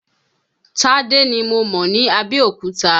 Tádé ni mo mọ̀ ní Abẹ́òkúta.